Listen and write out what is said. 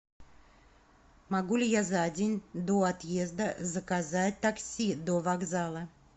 могу ли я за день до отъезда заказать такси до вокзала